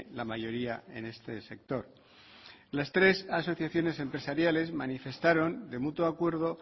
la mayoría en este sector las tres asociaciones empresariales manifestaron de mutuo acuerdo